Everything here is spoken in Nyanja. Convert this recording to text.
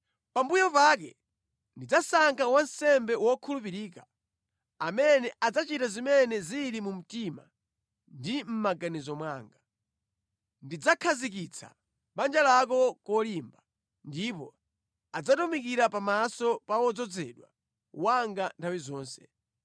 Pambuyo pake ndidzasankha wansembe wokhulupirika, amene adzachita zimene zili mu mtima ndi mʼmaganizo mwanga. Ndidzakhazikitsa banja lako kolimba ndipo adzatumikira pamaso pa wodzozedwa wanga nthawi zonse.